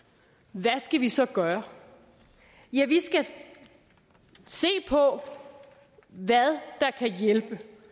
hvad skal vi så gøre ja vi skal se på hvad der kan hjælpe